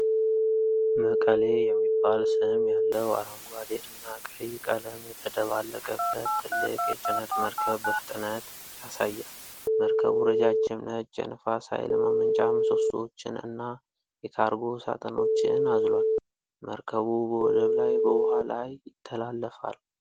'መቀሌ' የሚባል ስም ያለው አረንጓዴ እና ቀይ ቀለም የተደባለቀበት ትልቅ የጭነት መርከብ በፍጥነት ያሳያል። መርከቡ ረጃጅም ነጭ የነፋስ ኃይል ማመንጫ ምሰሶዎችን እና የካርጎ ሳጥኖችን አዝሏል። መርከቡ በወደብ ላይ በውሃ ላይ ይተላለፋል።